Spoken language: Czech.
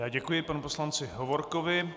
Já děkuji panu poslanci Hovorkovi.